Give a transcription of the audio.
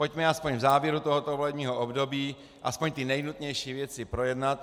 Pojďme aspoň v závěru tohoto volebního období aspoň ty nejnutnější věci projednat.